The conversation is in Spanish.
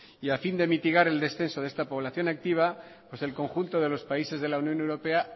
y a fin de mitigar el descenso de esta población activa pues el conjunto de los países de la unión europea